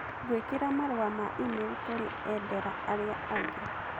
gwĩkĩra marũa ma e-mail kũrĩ endera arĩa angĩ